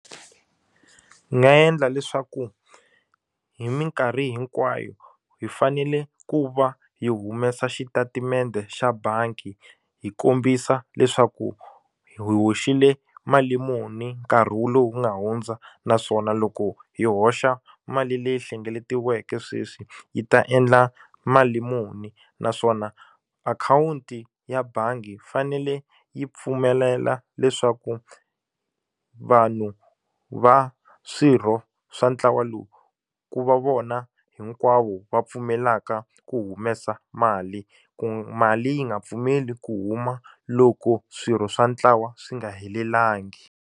Ndzi nga endla leswaku hi minkarhi hinkwayo hi fanele ku va hi humesa xitatimende xa bangi hi kombisa leswaku hi hoxile mali muni nkarhi wu lowu nga hundza naswona loko hi hoxa mali leyi hlengeletiweke sweswi yi ta endla mali muni naswona akhawunti ya bangi yi fanele yi pfumelela leswaku vanhu va swirho swa ntlawa lowu ku va vona hinkwavo va pfumelaka ku humesa mali ku mali yi nga pfumeli ku huma loko swirho swa ntlawa swi nga helelangi.